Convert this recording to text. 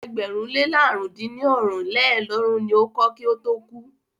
Ilé ẹgbẹ̀rún le làrún dín ní ọ́rin lélọ́ọ̀dúnrún ni o kọ́ kí ó tó kú.